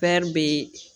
bee